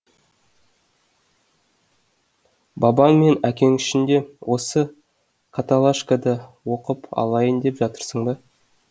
бабаң мен әкең үшін де осы каталашкада оқып алайын деп жатырсың ба